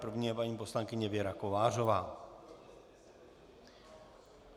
První je paní poslankyně Věra Kovářová.